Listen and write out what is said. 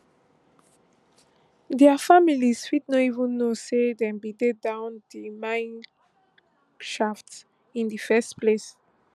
dia families fit no even know say dem bin dey down di mineshaft in di first place